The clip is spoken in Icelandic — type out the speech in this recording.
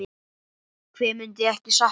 Hver myndi ekki sakna hans?